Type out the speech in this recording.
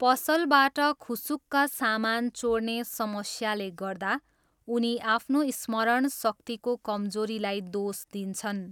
पसलबाट खुसुक्क सामान चोर्ने समस्याले गर्दा उनी आफ्नो स्मरणशक्तिको कमजोरीलाई दोष दिन्छन्।